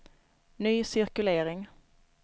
ny cirkulering